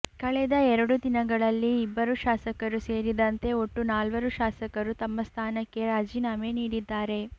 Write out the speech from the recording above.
ಕಳೆದ ಎರಡು ದಿನಗಳಲ್ಲಿ ಇಬ್ಬರು ಶಾಸಕರು ಸೇರಿದಂತೆ ಒಟ್ಟು ನಾಲ್ವರು ಶಾಸಕರು ತಮ್ಮ ಸ್ಥಾನಕ್ಕೆ ರಾಜೀನಾಮೆ ನೀಡಿದ್ದಾರೆ